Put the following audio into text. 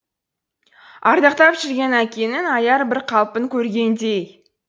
ардақтап жүрген әкенің аяр бір қалпын көргендей